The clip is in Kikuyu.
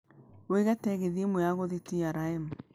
wiĩge tegithi ĩmwe ya gũthiĩ trm